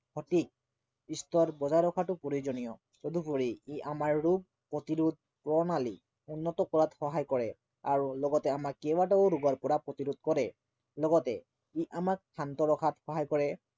সঠিক স্তৰ বজাই ৰখাটো প্ৰয়োজনীয়। তদুপৰি, ই আমাৰ ৰোগ প্ৰতিৰোধ প্ৰণালী উন্নত কৰাত সহায় কৰে আৰু লগতে আমাক কেইবাটাও ৰোগৰ পৰা প্ৰতিৰোধ কৰে লগতে ই আমাক শান্ত ৰখাত সহায় কৰে